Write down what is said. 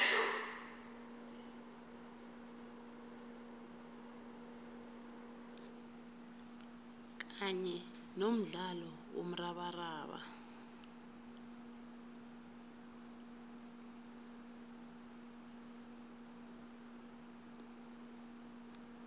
kanye nomdlalo womrabaraba